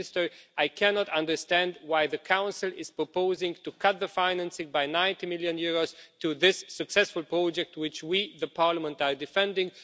Minister, I cannot understand why the Council is proposing to cut the financing by EUR 90 million to this successful project which we, the Parliament, are defending.